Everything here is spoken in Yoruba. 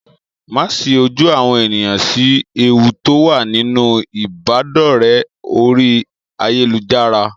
Màá sí ojú àwọn ènìyàn sí ewu tó wà nínú ìbádọ̀rẹ́ orí ayélujára.